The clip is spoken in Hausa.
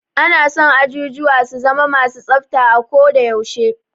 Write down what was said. Ana son ajujuwa su zama ma su tsafta a ko da yaushe.